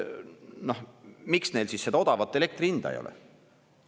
Miks neil siis seda odavat elektri hinda ei ole?